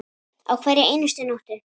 Á hverri einustu nóttu.